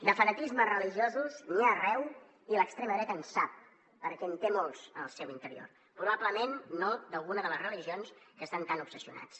de fanatismes religiosos n’hi ha arreu i l’extrema dreta en sap perquè en té molts en el seu interior probablement no d’alguna de les religions amb què estan tan obsessionats